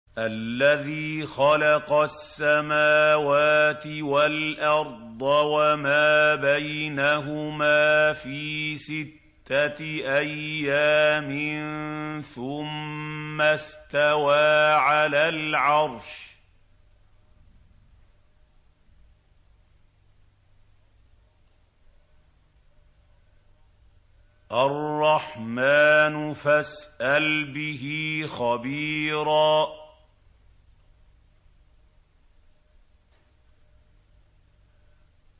الَّذِي خَلَقَ السَّمَاوَاتِ وَالْأَرْضَ وَمَا بَيْنَهُمَا فِي سِتَّةِ أَيَّامٍ ثُمَّ اسْتَوَىٰ عَلَى الْعَرْشِ ۚ الرَّحْمَٰنُ فَاسْأَلْ بِهِ خَبِيرًا